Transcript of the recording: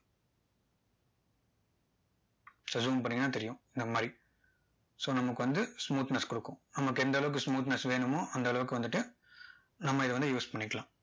zoom பண்ணிங்கன்னா தெரியும் இந்த மாதிரி so நமக்கு வந்து smoothness கொடுக்கும் நமக்கு அந்த அளவுக்கு smoothness வேணுமோ அந்த அளவுக்கு வந்துட்டு நம்ம இதை வந்து use பண்ணிக்கலாம்